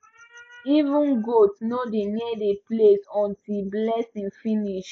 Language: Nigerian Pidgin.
even goat no dey near the place until blessing finish